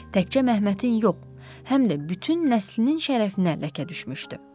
Təkcə Məhmətin yox, həm də bütün nəslinin şərəfinə ləkə düşmüşdü.